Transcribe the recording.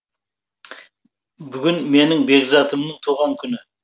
бүгін менің бекзатымның туған күні